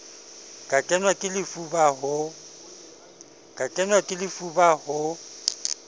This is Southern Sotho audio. ka kenwa ke lefuba ho